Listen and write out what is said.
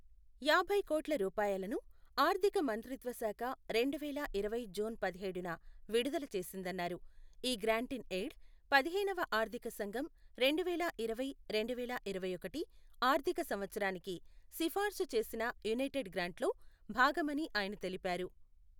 యాభై కోట్ల రూపాయలను ఆర్ధిక మంత్రిత్వశాఖ రెండు వేల ఇరవై జూన్ పదిహేడున విడుదల చేసిందన్నారు ఈ గ్రాంట్ ఇన్ ఎయిడ్ పదిహేనవ ఆర్ధిక సంఘం రెండు వేల ఇరవై రెండు వేల ఇరవైఒకటి ఆర్ధిక సంవత్సరానికి సిఫార్సు చేసిన యునైటెడ్ గ్రాంటులో భాగమని ఆయన తెలిపారు.